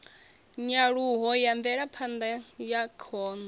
nyaluho ya mvelaphanda ya khono